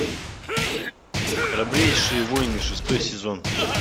храбрейшие воины шестой сезон